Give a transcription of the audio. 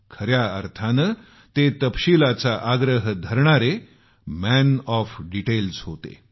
खऱ्या अर्थानं ते तपशिलाचा आग्रह धरणारे मॅन ऑफ डीटेल्स होते